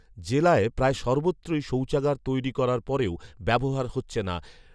জেলার প্রায় সর্বত্রই শৌচাগার তৈরি করার পরেও ব্যবহার হচ্ছে না